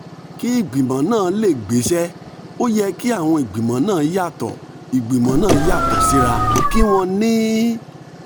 kí ìgbìmọ̀ náà lè gbéṣẹ́ ó yẹ kí àwọn ìgbìmọ̀ náà yàtọ̀ ìgbìmọ̀ náà yàtọ̀ síra kí wọ́n ní